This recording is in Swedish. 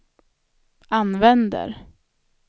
använder